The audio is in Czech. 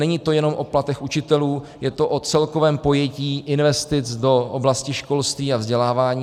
Není to jenom o platech učitelů, je to o celkovém pojetí investic do oblasti školství a vzdělávání.